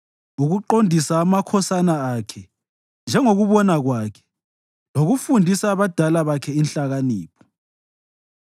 ukuqondisa amakhosana akhe njengokubona kwakhe lokufundisa abadala bakhe inhlakanipho.